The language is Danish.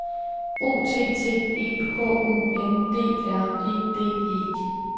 O T T E H U N D R E D E